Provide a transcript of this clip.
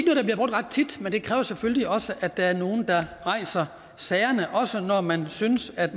ret tit men det kræver selvfølgelig også at der er nogle der rejser sagerne også når man synes at